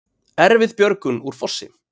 Erfið björgun úr fossi